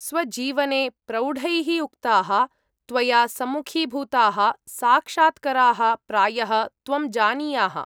स्वजीवने प्रौढैः उक्ताः, त्वया सम्मुखीभूताः साक्षात्कराः प्रायः त्वं जानीयाः।